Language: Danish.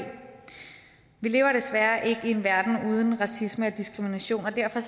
vi lever desværre ikke i en verden uden racisme og diskrimination og derfor